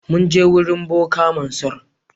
Mun je wurin boka Mansur.